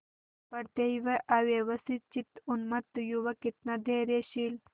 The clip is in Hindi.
पड़ते ही वह अव्यवस्थितचित्त उन्मत्त युवक कितना धैर्यशील